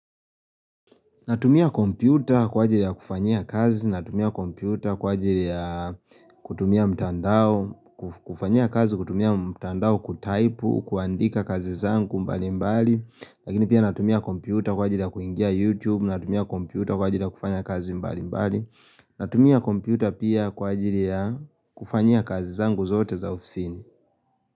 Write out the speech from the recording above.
Natumia kompyuta kwa ajili ya kufanya kazi, natumia kompyuta kwa ajili ya kutumia mtandao, kufanya kazi kutumia mtandao kutaipu, kuandika kazi zangu mbali mbali, lakini pia natumia kompyuta kwa ajili ya kuingia YouTube, natumia kompyuta kwa ajili ya kufanya kazi mbali mbali, natumia kompyuta pia kwa ajili ya kufanya kazi zangu zote za ofisini.